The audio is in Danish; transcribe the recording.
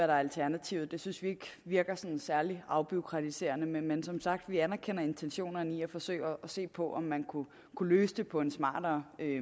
der er alternativet synes vi ikke virker særlig afbureaukratiserende men som sagt anerkender vi intentionerne i at forsøge at se på om man kunne løse det på en smartere